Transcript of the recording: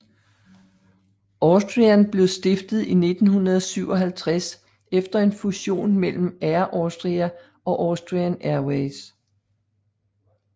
Austrian blev stiftet i 1957 efter en fusion mellem Air Austria og Austrian Airways